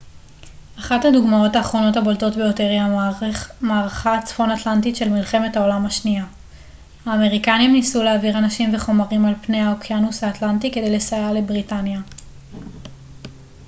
אחת הדוגמאות האחרונות הבולטות ביותר היא המערכה הצפון אטלנטית של מלחמת העולם השנייה האמריקנים ניסו להעביר אנשים וחומרים על פני האוקיינוס האטלנטי כדי לסייע לבריטניה